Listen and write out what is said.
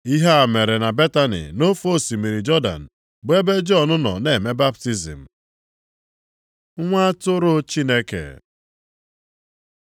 Ihe a mere na Betani nʼofe osimiri Jọdan bụ ebe Jọn nọ na-eme baptizim. Nwa atụrụ Chineke